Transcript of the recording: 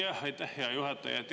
Aitäh, hea juhataja!